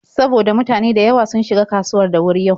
Saboda mutane da yawa sun shiga kasuwar da wuri yau.